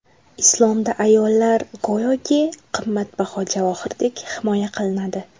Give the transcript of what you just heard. Islomda ayollar go‘yoki qimmatbaho javohirdek himoya qilinadi.